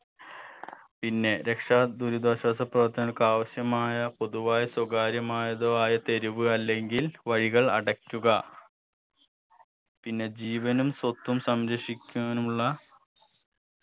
പിന്നെ രക്ഷാ ദുരിതാശ്വാസ പ്രവർത്തനങ്ങൾക്ക് ആവശ്യമായ പൊതുവായ സ്വകാര്യമായതോ ആയ തെരുവ് അല്ലെങ്കിൽ വഴികൾ അടക്കുക പിന്നെ ജീവനും സ്വത്തും സംരക്ഷിക്കാനുള്ള